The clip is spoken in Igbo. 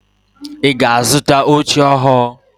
Ị ga-azụta oche ọhụụ?